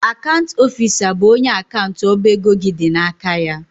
Akant ọfisa bụ onye akant ọba ego gị dị n'aka ya.